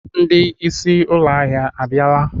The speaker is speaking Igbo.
Ndị isí ụlọ ahịa abịala?